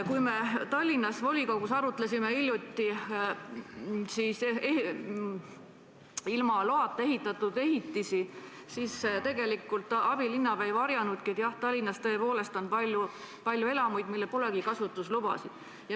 Kui me Tallinna volikogus arutlesime hiljuti ilma loata püsti pandud ehitisi, siis abilinnapea ei varjanudki, et Tallinnas on tõepoolest palju elamuid, millel pole kasutusluba.